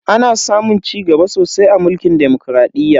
Ana samun cigaba sosai a mulkin demokradiyya.